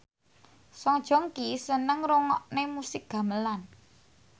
Song Joong Ki seneng ngrungokne musik gamelan